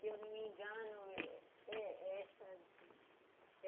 Se eu não me engano, é é essa azul.